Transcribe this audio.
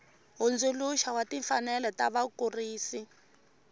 hundzuluxa wa timfanelo ta vakurisi